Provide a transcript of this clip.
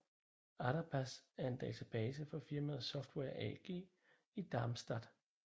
Adabas er en database fra firmaet Software AG i Darmstadt